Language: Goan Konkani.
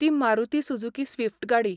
ती मारुती सुझुकी स्विफ्ट गाडी.